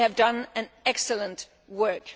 they have done excellent work.